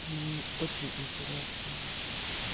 ну мне очень интересно